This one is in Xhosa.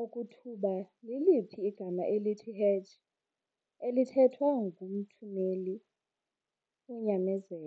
okokuba liliphi igama elithi "hedge" elithethwa ngumthumeli womyalezo.